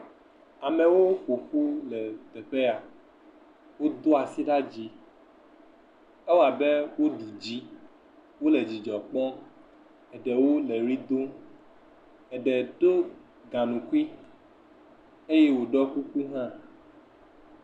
Amewo ƒoƒu le teƒe ya, wodo asi ɖe dzi ewabe woɖu dzi, wole dzidzɔ kpɔm, ɖewo le wli dom, eɖe do gaŋkui eye wòɖɔ kuku hã.